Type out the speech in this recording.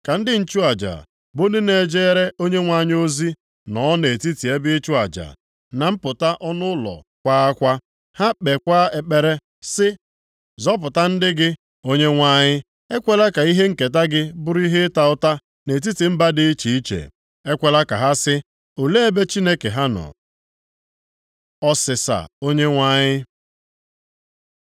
Ka ndị nchụaja, bụ ndị na-ejere Onyenwe anyị ozi, nọọ nʼetiti ebe ịchụ aja, na mpụta ọnụ ụlọ kwaa akwa. Ha kpeekwa ekpere sị, “Zọpụta ndị gị, Onyenwe anyị. Ekwela ka ihe nketa gị bụrụ ihe ịta ụta, nʼetiti mba dị iche iche. Ekwela ka ha sị, ‘Olee ebe Chineke ha nọ?’ ” Ọsịsa Onyenwe anyị